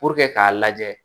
k'a lajɛ